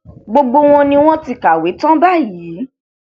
gbogbo wọn ni wọn ti kàwé tán báyìí